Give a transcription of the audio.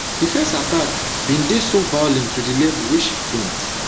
di first attack bin dey so violent to di level wey she faint